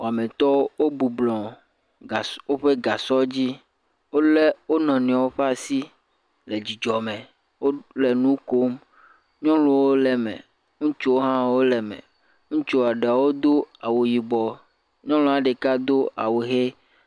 Wɔmitɔwo wobublɔ̃ gasɔ, woƒe gasɔdzi. Wolé wo nɔnɔewo ƒe asi le dzidzɔme, wole nu kom. Nyɔnuwo le eme, ŋutsuwo hã wole eme. Ŋutsu aɖewo do awu yibɔ, nyɔnua ɖeka do awu ʋe.